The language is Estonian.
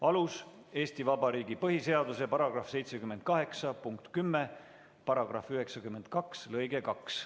Alus: Eesti Vabariigi põhiseaduse § 78 punkt 10, § 92 lõige 2.